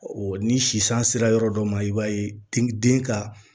ni sisan sera yɔrɔ dɔ ma i b'a ye den den ka